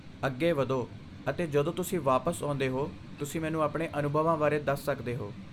ਅੱਗੇ ਵਧੋ ਅਤੇ ਜਦੋਂ ਤੁਸੀਂ ਵਾਪਸ ਆਉਂਦੇ ਹੋ, ਤੁਸੀਂ ਮੈਨੂੰ ਆਪਣੇ ਅਨੁਭਵਾਂ ਬਾਰੇ ਦੱਸ ਸਕਦੇ ਹੋ।